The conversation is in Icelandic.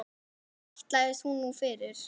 Hvað ætlast hún nú fyrir?